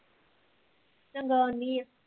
ਚੰਗਾ ਆਉਣੀ ਐ